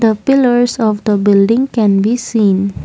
the pillers of the building can be seen.